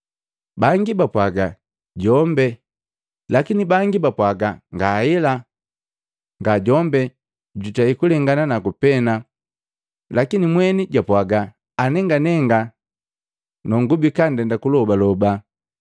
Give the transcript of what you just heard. Bangi bapwaaga, “Jombe” Lakini bangi bapwaaga, “Ngaela, nga jombe jutei kulengana naku pena.” Lakini mweni japwaga, “Anenganenga nongubika ndenda kulobaloba.”